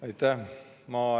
Aitäh!